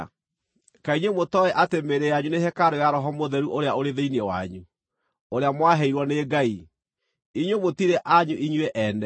Kaĩ inyuĩ mũtooĩ atĩ mĩĩrĩ yanyu nĩ hekarũ ya Roho Mũtheru ũrĩa ũrĩ thĩinĩ wanyu, ũrĩa mwaheirwo nĩ Ngai? Inyuĩ mũtirĩ anyu inyuĩ ene;